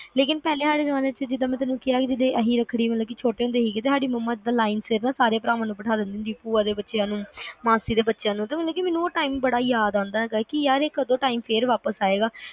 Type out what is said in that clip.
ਲੇਕਿਨ ਪਹਿਲਾ ਵਾਲੇ ਜ਼ਮਾਨੇ ਚ ਜਿਦਾ ਮੈਂ ਤੈਨੂੰ ਕਿਹਾ ਕਿ ਜਦੋ ਅਸੀਂ ਰੱਖੜੀ ਛੋਟੇ ਹੁੰਦੇ ਮੰਮਾ line ਵਿੱਚ ਸਾਰੇ ਭਰਾਵਾਂ ਨੂੰ ਭੂਆ ਦੇ ਬੱਚਿਆਂ ਨੂੰ, ਮਾਸੀ ਦੇ ਬੱਚਿਆਂ ਨੂੰ ਮਤਲਬ time ਬੜਾ ਯਾਦ ਆਂਦਾ ਕੇ ਇਹ time ਕਦੋ ਫੇਰ ਵਾਪਿਸ ਆਏਗਾ